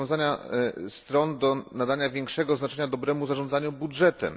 zobowiązania stron do nadania większego znaczenia dobremu zarządzaniu budżetem.